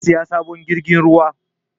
Zai saya sabon jirgin ruwa